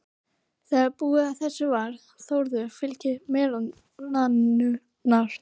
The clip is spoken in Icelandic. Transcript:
Þegar búinn að þessu var, Þórður fyljaði merarnar.